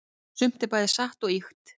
sumt er bæði satt og ýkt